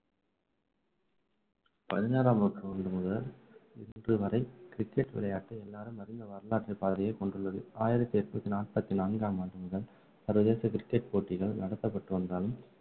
பதினாறாம் நூற்றாண்டு முதல் இன்றுவரை cricket விளையாட்டு எல்லாரும் அறிந்த வரலாற்றுப்பாதையை கொண்டுள்ளது ஆயிரத்து எண்ணூற்று நாற்பத்து நான்காம் ஆண்டு முதல் சர்வதேச கிரிக்கட் போட்டிகள் நடத்தப்பட்டு வந்தாலும்